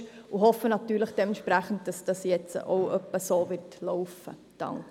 Dementsprechend hoffen wir, dass dies jetzt auch in etwa so laufen wird.